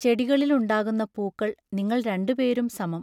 ചെടികളിലുണ്ടാകുന്ന പൂക്കൾ നിങ്ങൾ രണ്ടുപേരും സമം